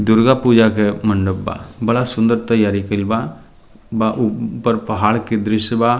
दुर्गा पूजा के मंडप बा बड़ा सुन्दर तैयारी कइल बा बा उ ऊपर पहाड़ के दृश्य बा।